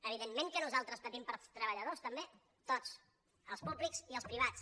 evidentment que nosaltres patim pels treballadors també tots els públics i els privats